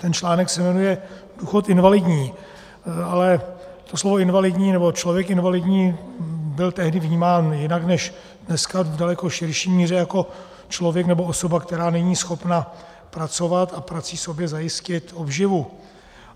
Ten článek se jmenuje Důchod invalidní, ale to slovo invalidní, nebo člověk invalidní byl tehdy vnímán jinak než dneska, v daleko širší míře - jako člověk, nebo osoba, která není schopna pracovat a prací sobě zajistit obživu.